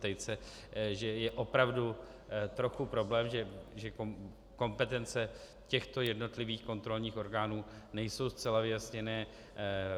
Tejce, že je opravdu trochu problém, že kompetence těchto jednotlivých kontrolních orgánů nejsou zcela vyjasněny.